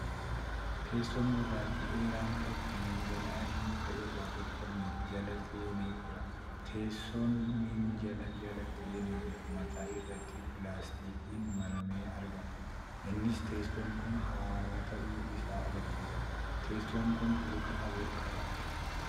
Teessoo gurraachi dheeraan tokko minjaala adii muka irraa tolfame jala seenee jira. Teessoo minjaala jala seenee jiru mataa irratti pilaastikiin maramee argama. Innis teessoon kun haaraa ta'uu isaa agarsiisa. Teessoon kun luka afur qaba.